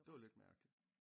Det var lidt mærkelig